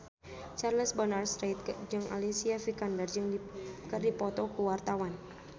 Charles Bonar Sirait jeung Alicia Vikander keur dipoto ku wartawan